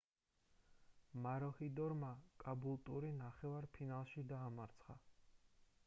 მაროჰიდორმა კაბულტური ნახევარ ფინალში დაამარცხა